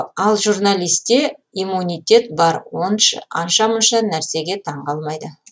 ал журналисте иммунитет бар анша мұнша нәрсеге таңқалмайды